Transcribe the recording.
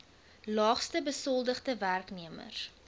laagste besoldigde werknemers